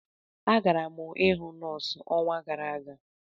Agara m ịhụ nọọsụ ọnwa gara aga.